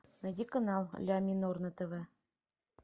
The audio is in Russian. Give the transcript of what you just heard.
найди канал ля минор на тв